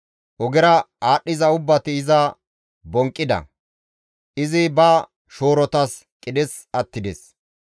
Ogera aadhdhiza ubbati iza bonqqida; izi ba shoorotas qidhes attides.